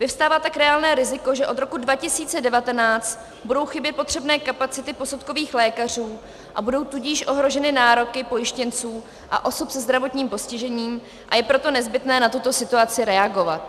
Vyvstává tak reálné riziko, že od roku 2019 budou chybět potřebné kapacity posudkových lékařů, a budou tudíž ohroženy nároky pojištěnců a osob se zdravotním postižením, a je proto nezbytné na tuto situaci reagovat.